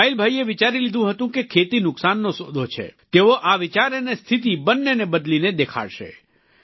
ઈસ્માઈલભાઈએ વિચારી લીધું હતું કે ખેતી નુકસાનનો સોદો છે તેઓ આ વિચાર અને સ્થિતી બંનેને બદલીને દેખાડશે